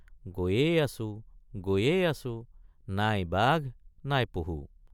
গৈয়েই আছোঁ গৈয়েই আছোঁ—নাই বাঘনাই পহু।